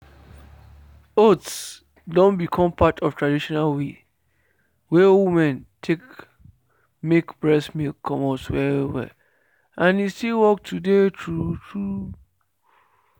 oats don become part of traditional way wey women take make breast milk comot well well and e still work today true true.